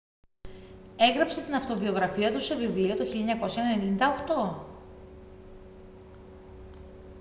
έγραψε την αυτοβιογραφία του σε βιβλίο το 1998